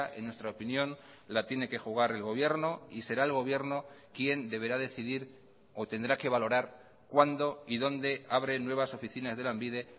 en nuestra opinión la tiene que jugar el gobierno y será el gobierno quien deberá decidir o tendrá que valorar cuándo y dónde abren nuevas oficinas de lanbide